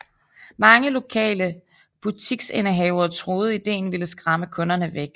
Mange lokale butiksindehavere troede ideen ville skræmme kunderne væk